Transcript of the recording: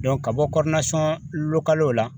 ka bɔ la